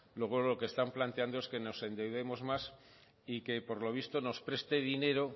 luego lo que están planteando es que nos endeudemos más y que por lo visto nos preste dinero